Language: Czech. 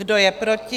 Kdo je proti?